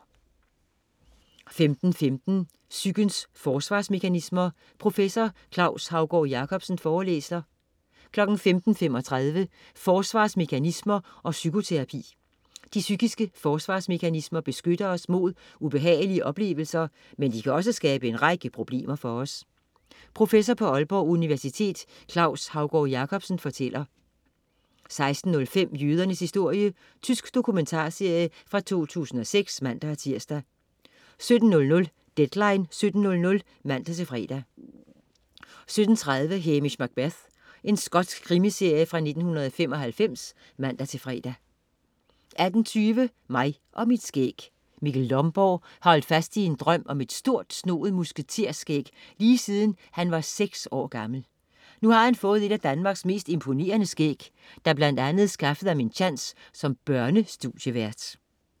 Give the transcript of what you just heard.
15.15 Psykens forsvarsmekanismer. Professor Claus Haugaard Jacobsen forelæser 15.35 Forsvarsmekanismer og psykoterapi. De psykiske forsvarsmekanismer beskytter os mod ubehagelige oplevelser, men de kan også skabe en række problemer for os. Professor på Aalborg Universitet Claus Haugaard Jacobsen fortæller 16.05 Jødernes historie. Tysk dokumentarserie fra 2006 (man-tirs) 17.00 Deadline 17:00 (man-fre) 17.30 Hamish Macbeth. Skotsk krimiserie fra 1995 (man-fre) 18.20 Mig og mit skæg. Mikkel Lomborg har holdt fast i sin drøm om et stort snoet musketer-skæg lige siden han var seks år gammel. Nu har han fået et af danmarks mest imponerende skæg, der blandt andet skaffede ham en tjans som børnestudievært